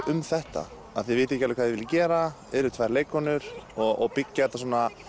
um þetta að þið vitið ekki alveg hvað þið viljið gera eruð tvær leikkonur og byggja þetta